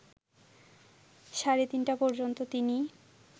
সাড়ে ৩টা পর্যন্ত তিনি